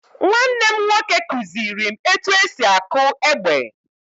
Nwanne m nwoke kuziri m etu esi akụ egbe.